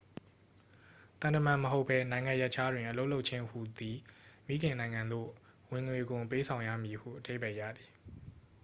သံတမန်မဟုတ်ဘဲ နိုင်ငံရပ်ခြားတွင် အလုပ်လုပ်ခြင်းဟူသည် မိခင်နိုင်ငံသို့ ဝင်ငွေခွန်ပေးဆောင်ရမည်ဟု အဓိပ္ပာယ်ရသည်